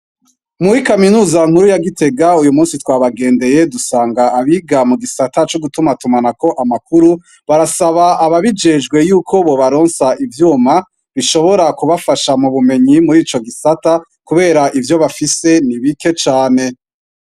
Muri kaminuza nkuru ya gitega uyu musi twabagendeye dusanga abiga mugisata cugutumatuma amakuru barasaba abajijejwe yuko bobaronse ivyuma bishobokubafasha mubumenyi murico gisata kubera ivyo bafise nibike cane